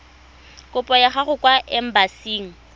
kopo ya gago kwa embasing